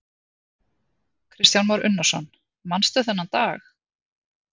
Kristján Már Unnarsson: Manstu þennan dag?